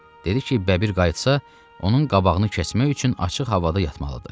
Dedi ki, bəbir qayıtsa, onun qabağını kəsmək üçün açıq havada yatmalıdır.